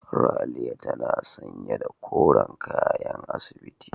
Ralia tana sanye da koren kayan asibiti.